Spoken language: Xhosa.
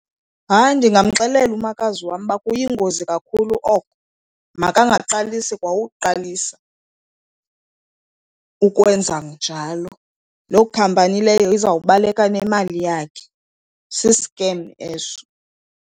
Hayi, ndingamxelela umakazi wam uba kuyingozi kakhulu oko, makangaqalisi kwa uqalisa ukwenza njalo. Loo khampani leyo izawubaleka nemali yakhe, si-scam eso.